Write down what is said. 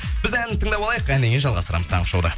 біз ән тыңдап алайық әннен кейін жалғастырамыз таңғы шоуда